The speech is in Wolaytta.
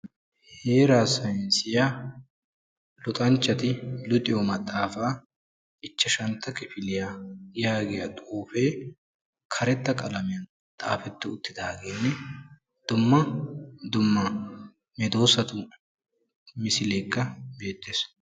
Heera saynissiya luxanchchati luxiyo maxaafa ichcjashshantta kifiliya yaagiyaa xuufe karetta qalamiyaan xaafeti uttidaagenne dumma dumma medoosatu misilekka beettees.